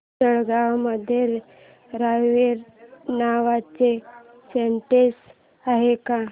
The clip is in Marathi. जळगाव मध्ये रावेर नावाचं स्टेशन आहे का